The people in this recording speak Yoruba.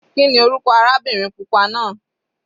Kíni orúkọ arábìnrin pupa náà?